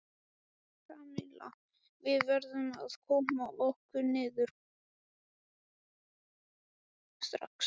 Kamilla, við verðum að koma okkur niður strax.